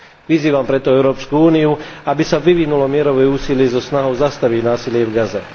Vyzývam preto EÚ, aby sa vyvinulo mierové úsilie so snahou zastaviť násilie v Gaze.